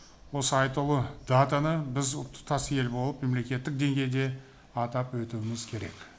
осы айтулы датаны біз тұтас ел болып мемлекеттік деңгейде атап өтуіміз керек